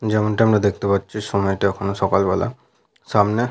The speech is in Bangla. যেমনটা আমরা দেখতে পাচ্ছি সময়টা এখন সকালবেলা। সামনে --